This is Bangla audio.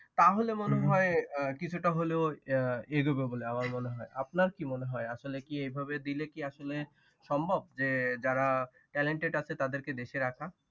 তা হলে মনে হয় কিছুটা হলেও আহ এগোবে বলে আমার মনে হয়। আপনার কি মনে হয় আসলে কি এভাবে দিলে কি আসলে সম্ভব যে যারা talented আছে তাদের কে দেশে রাখা।